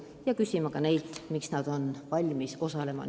Muidugi küsime neilt ka seda, miks nad otsustasid pilootprojektis osaleda.